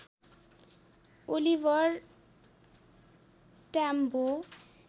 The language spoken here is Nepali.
ओलिभर ट्याम्बो